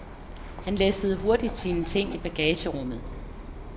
Han læssede hurtigt sine ting i bagagerummet.